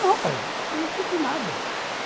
Não, pai, não preciso de nada.